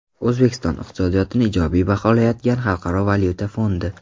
O‘zbekiston iqtisodiyotini ijobiy baholayotgan Xalqaro valyuta fondi.